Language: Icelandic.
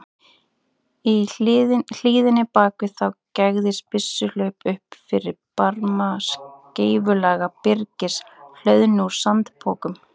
Í hlíðinni bak við þá gægðist byssuhlaup upp fyrir barma skeifulaga byrgis, hlöðnu úr sandpokum.